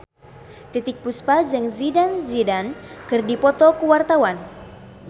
Titiek Puspa jeung Zidane Zidane keur dipoto ku wartawan